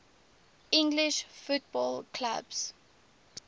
english football clubs